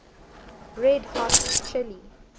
red hot chili